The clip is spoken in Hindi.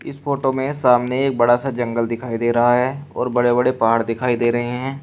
इस फोटो में सामने एक बड़ा सा जंगल दिखाई दे रहा है और बड़े बड़े पहाड़ दिखाई दे रहे हैं।